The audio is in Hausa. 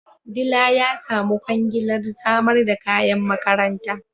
Dila ya samu kwangilar samar da kayan makaranta